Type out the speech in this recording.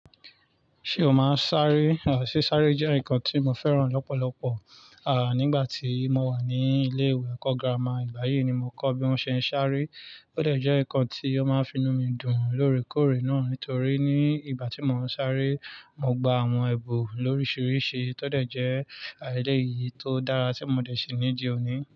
Ṣé o máa ń sáré? Sí sáré jẹ́ nǹkan tí mo fẹ́ràn lọ́pọ̀lọpọ̀, nígbà tí mo wà ní ilé ìwé ẹ̀kọ́ gírámà ìgbà yíi ni mo kọ́ bí wón ṣe ń sáré, ó dẹ̀ jẹ́ nǹkan tí ó máa ń fi inú mi dùn lóòrèkóòrè náà. Nítorí ní ìgbà tí mo ń sáré, mo gba àwọn èbùn lóríṣiríṣi, tọ́dẹ̀ jẹ́ eleyii tó dára tí mo dẹ̀ sí ní di òní.